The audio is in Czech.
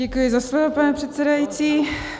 Děkuji za slovo, pane předsedající.